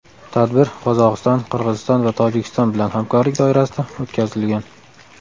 Tadbir Qozog‘iston, Qirg‘iziston va Tojikiston bilan hamkorlik doirasida o‘tkazilgan.